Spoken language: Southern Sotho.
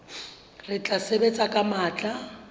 re tla sebetsa ka matla